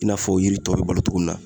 I n'a fɔ yiri tɔw be bolo togo min na